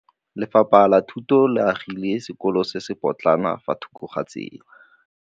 Lefapha la Thuto le agile sekôlô se se pôtlana fa thoko ga tsela.